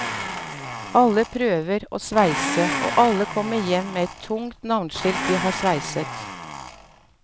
Alle prøver å sveise, og alle kommer hjem med et tungt navneskilt de har sveiset.